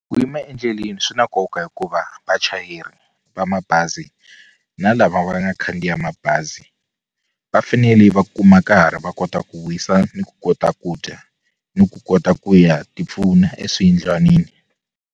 Ku yima endleleni swi na nkoka hikuva vachayeri va mabazi na lava va nga khandziya mabazi va fanele va kuma nkarhi va kota ku wisa ni ku kota ku dya ni ku kota ku ya tipfuna eswiyindlwanini.